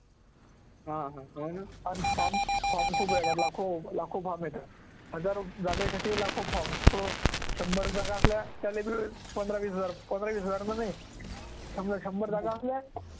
हा हा हो ना आणि form खूप येतात लाखों लाखों form येतात, हजारो जागेसाठी लाखों forms तर शंभर जागा असल्या त्याले बी पंधरा वीस हजार पंधरा वीस हजार रुपये नाही शंभर शंभर जागा